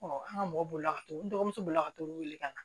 an ka mɔgɔ bolila ka to n dɔgɔmuso bolila ka to olu wele ka na